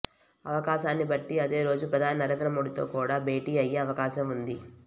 అవకాశాన్ని బట్టి అదే రోజు ప్రధాని నరేంద్రమోడీతో కూడా భేటీ అయ్యే అవకాశం ఉంది